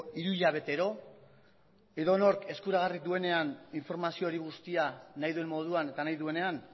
hiru hilabetero edonork eskuragarri duenean informazio hori guztia nahi duen moduan eta nahi duenean